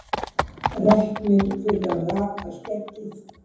Reknir fyrir að raka skeggið